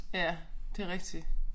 Ja det rigtigt